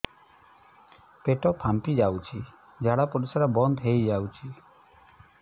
ପେଟ ଫାମ୍ପି ଯାଉଛି ଝାଡା ପରିଶ୍ରା ବନ୍ଦ ହେଇ ଯାଉଛି